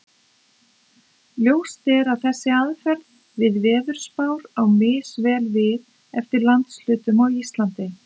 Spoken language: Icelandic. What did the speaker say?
Ljóst er að þessi aðferð við veðurspár á misvel við eftir landshlutum á Íslandi.